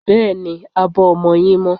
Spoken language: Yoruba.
Bẹ́ẹ̀ni, abọ́ ọmọ yín mọ́.